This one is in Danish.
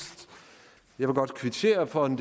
kvittere for en